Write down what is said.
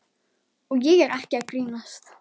Og ég er ekki að grínast.